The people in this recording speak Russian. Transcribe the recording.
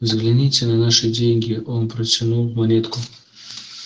взгляните на наши деньги он протянул монетку